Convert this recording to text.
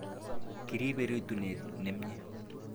Kiribe rutunet nemye